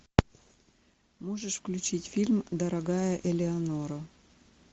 можешь включить фильм дорогая элеонора